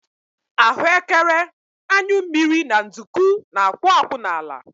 Ahuekere, anyụ mmiri na nduku na-akwụ akwụ n'ala